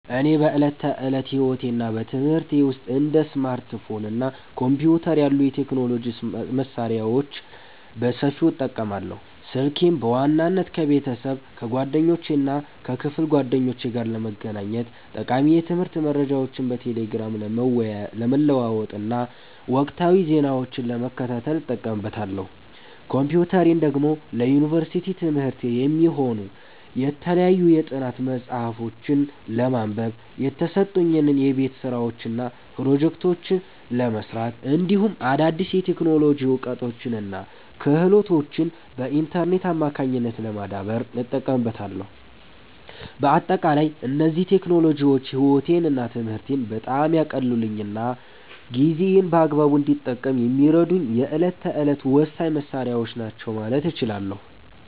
እኔ በዕለት ተዕለት ሕይወቴና በትምህርቴ ውስጥ እንደ ስማርትፎን እና ኮምፒውተር ያሉ የቴክኖሎጂ መሣሪያዎችን በሰፊው እጠቀማለሁ። ስልኬን በዋናነት ከቤተሰብ፣ ከጓደኞቼና ከክፍል ጓደኞቼ ጋር ለመገናኘት፣ ጠቃሚ የትምህርት መረጃዎችን በቴሌግራም ለመለዋወጥና ወቅታዊ ዜናዎችን ለመከታተል እጠቀምበታለሁ። ኮምፒውተሬን ደግሞ ለዩኒቨርሲቲ ትምህርቴ የሚሆኑ የተለያዩ የጥናት መጽሐፍትን ለማንበብ፣ የተሰጡኝን የቤት ሥራዎችና ፕሮጀክቶች ለመሥራት፣ እንዲሁም አዳዲስ የቴክኖሎጂ እውቀቶችንና ክህሎቶችን በኢንተርኔት አማካኝነት ለማዳበር እጠቀምበታለሁ። በአጠቃላይ እነዚህ ቴክኖሎጂዎች ሕይወቴንና ትምህርቴን በጣም ያቀለሉልኝና ጊዜዬን በአግባቡ እንድጠቀም የሚረዱኝ የዕለት ተዕለት ወሳኝ መሣሪያዎቼ ናቸው ማለት እችላለሁ።